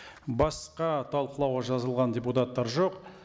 басқа талқылауға жазылған депутаттар жоқ